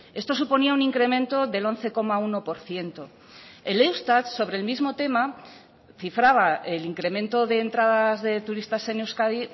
esto suponía un incremento del once coma uno por ciento el eustat sobre el mismo tema cifraba el incremento de entradas de turistas en euskadi